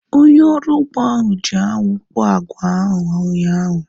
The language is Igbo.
Onye ọrụ ugbo ahu ji anwụ kpọọ agwa ahu ụnyaahụ